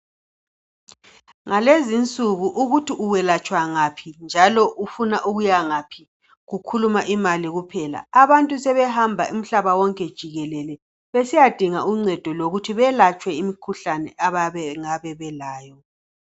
Ngalezinsuku ukuthi uwelatshwa ngaphi njalo ufuna ukuya ngaphi kukhuluma imali kuphela. Abantu sebehamba umhlaba wonke jikelele besiyadinga uncedo lokuthi belatshwe imikhuhlane abangabe belayo